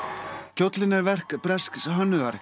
kjóllinn er verk bresks hönnuðar